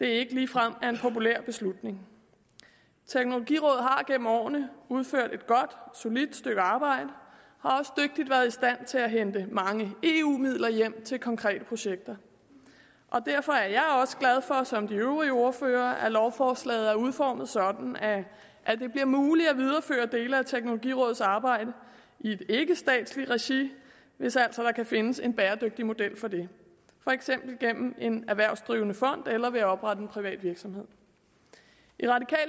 det ikke ligefrem er en populær beslutning teknologirådet har gennem årene udført et godt solidt stykke arbejde og til at hente mange eu midler hjem til konkrete projekter derfor er jeg også glad for som de øvrige ordførere er at lovforslaget er udformet sådan at det bliver muligt at videreføre dele af teknologirådets arbejde i et ikkestatsligt regi hvis altså der kan findes en bæredygtig model for det for eksempel gennem en erhvervsdrivende fond eller ved at oprette en privat virksomhed